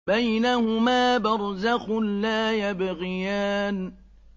بَيْنَهُمَا بَرْزَخٌ لَّا يَبْغِيَانِ